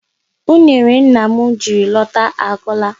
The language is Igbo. Unere nna m jiri lọta agwụla.